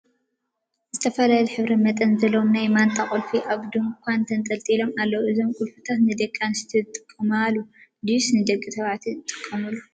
ዝተፈላለዩ ሕብሪን መጠንን ዘለዎም ናይ ማንጣ ቁልፊ አብ ድንኳን ተንጠልጢሎም አለው፡፡ እዞም ቁልፊታት ንደቂ አንስትዮን ዝጥቀማሉ ድዩስ ንደቂ ተባዕትዮ ዝጥቀምሉ?